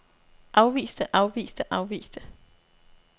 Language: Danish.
afviste afviste afviste